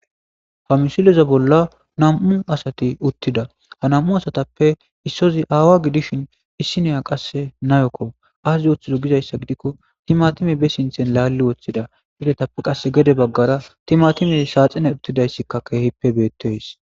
Ha misileza bolla nam7u asati uttida ha nam7u asatappe issozi aawa gidishin issineya qasse nayokko aazzi woththido gizayssa gidikko timatime be sinthen laalli woththida didetappe qass gede baggara timatime saaxine uttidayssikka keehippe beetteys.